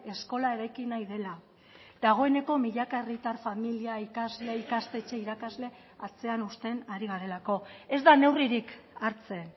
eskola eraiki nahi dela dagoeneko milaka herritar familia ikasle ikastetxe irakasle atzean uzten ari garelako ez da neurririk hartzen